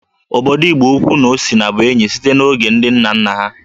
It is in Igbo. Obodo Igboukwu na Osina bụ enyi site n'oge ndị nna nna ha